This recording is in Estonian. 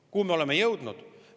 Kuhu me oleme jõudnud?